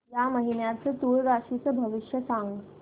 या महिन्याचं तूळ राशीचं भविष्य सांग